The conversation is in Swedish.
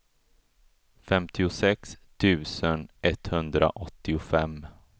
femtiosex tusen etthundraåttiofem